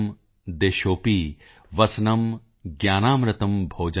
ਦਿਸ਼ੋਪੀ ਵਸਨੰ ਗਿਆਨ ਅੰਮਿ੍ਰਤ ਭੋਜਨੰ